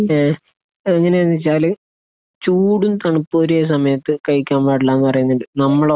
ങേഹ് അതെങ്ങനെയാണെന്നുവെച്ചാൽ ചൂടും തണുപ്പും ഒരേ സമയത്ത് കഴിക്കാൻ പാടില്ല എന്ന് പറയുന്നുണ്ട്. നമ്മളോ?